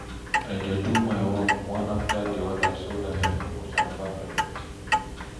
I dey do my work one after di oda so dat I no go jam-pack evritin